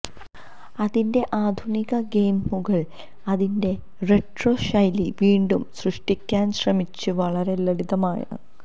അതിന്റെ ആധുനിക ഗെയിമുകൾ അതിന്റെ റെട്രോ ശൈലി വീണ്ടും സൃഷ്ടിക്കാൻ ശ്രമിച്ച് വളരെ ലളിതമാണ്